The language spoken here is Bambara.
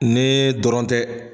Nee dɔrɔn tɛ